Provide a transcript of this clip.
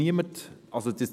Niemand ist es.